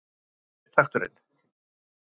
Var þetta upptakturinn?